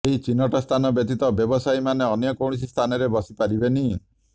ଏହି ଚିହ୍ନଟ ସ୍ଥାନ ବ୍ୟତୀତ ବ୍ୟବସାୟୀମାନେ ଅନ୍ୟ କୌଣସି ସ୍ଥାନରେ ବସିପାରିବେନି